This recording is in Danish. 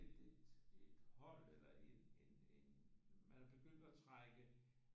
Blevet tilmeldt et et hold eller en en man er begyndt at trække